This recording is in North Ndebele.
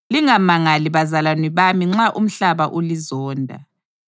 Lingamangali bazalwane bami nxa umhlaba ulizonda.